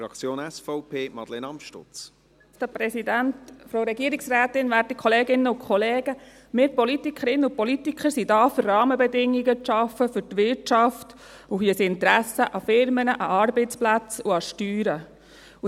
Wir Politikerinnen und Politiker sind da, um für die Wirtschaft Rahmenbedingungen zu schaffen, und haben ein Interesse an Unternehmen, an Arbeitsplätzen und an Steuern.